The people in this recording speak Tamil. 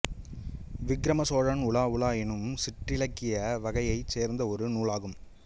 விக்கிரம சோழன் உலா உலா என்னும் சிற்றிலக்கிய வகையைச் சேர்ந்த ஒரு நூலாகும்